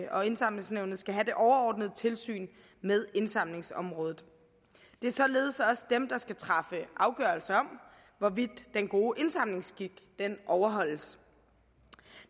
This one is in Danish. og indsamlingsnævnet skal have det overordnede tilsyn med indsamlingsområdet det er således også dem der skal træffe afgørelse om hvorvidt den gode indsamlingsskik overholdes